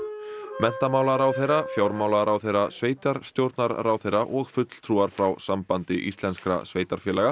menntamálaráðherra fjármálaráðherra sveitarstjórnarráðherra og fulltrúar frá Sambandi íslenskra sveitarfélaga